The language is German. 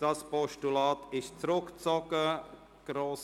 Dieses Postulat ist zurückgezogen worden.